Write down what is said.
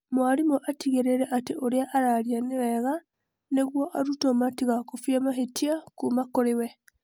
mwarimũ atigĩrĩre atĩ ũria araria nĩ wega nĩguo arutwo matigakobie mahĩtia kuma kũri we.